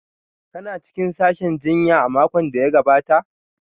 Kuna cikin sashin jinya a makon da ya gabata?